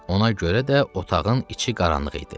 Ona görə də otağın içi qaranlıq idi.